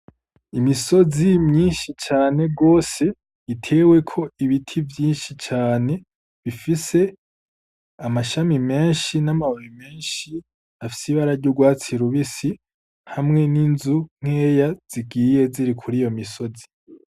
Imisozi myinshi cane gose iteweko ibiti vyinshi cane bifise amashami menshi n'amababi menshi afise ibara ry'urwatsi rubisi. Hamwe n'inzu nkeya zigiye ziri kuri iyo misozi.